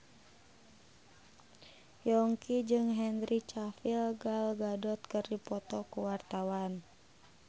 Yongki jeung Henry Cavill Gal Gadot keur dipoto ku wartawan